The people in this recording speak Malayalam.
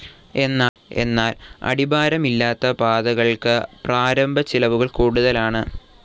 എന്നാൽ അടിഭാരമില്ലാത്ത പാതകൾക്ക് പ്രാരംഭ ചിലവുകൾ കൂടുതലാണ്.